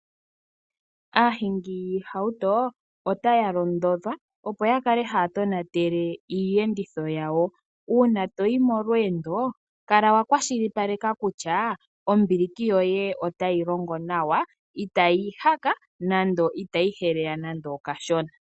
Aahingi yiihauto otaya londodhwa, opo ya kale haya tonatele iiyenditho yawo. Uuna toyi molweendo kala wa kwashilipaleka kutya ombiliki yoye otayi longo nawa, itayi ihaka nando, itayi heleya nande okashona.